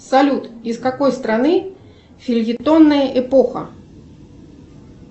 салют из какой страны фельетонная эпоха